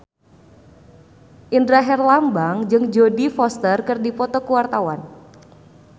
Indra Herlambang jeung Jodie Foster keur dipoto ku wartawan